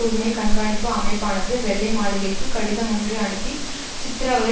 உரிமை கண்காணிப்பு அமைப்பானது வெள்ளை மாளிகைக்குக் கடிதம் ஒன்றை அனுப்பி சித்திரவதை